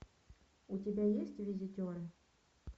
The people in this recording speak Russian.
у тебя есть визитеры